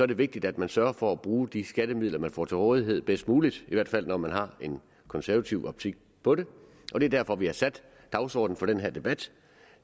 det vigtigt at man sørger for at bruge de skattemidler man får til rådighed bedst muligt i hvert fald når man har en konservativ optik på det og det er derfor vi har sat dagsordenen for den her debat